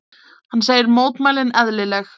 Hann segir mótmælin eðlileg.